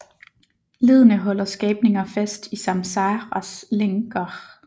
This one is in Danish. Leddene holder skabninger fast i samsaras lænker